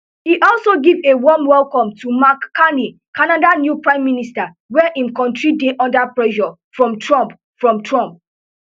e also give a warm welcome to mark carney canada new prime minister wey im kontri dey under pressure from trump from trump